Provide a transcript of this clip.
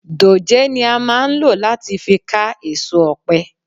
Dòjé ni a máa ń lò láti fi ká èso ọ̀pẹ.